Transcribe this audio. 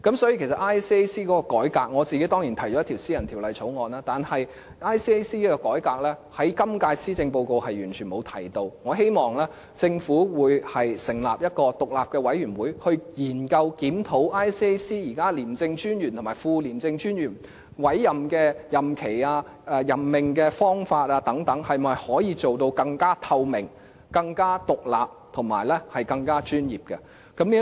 有關廉署的改革，我個人當然提出了一項私人法案，但就廉署的改革，今屆施政報告是完全沒有提及的，我希望政府成立一個獨立委員會，研究檢討廉政專員和副廉政專員的委任任期、任命方法等是否能夠更透明、更獨立和專業。